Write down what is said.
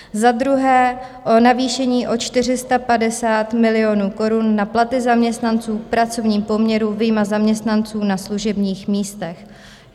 Za druhé, o navýšení o 450 milionů korun na platy zaměstnanců v pracovním poměru, vyjma zaměstnanců na služebních místech.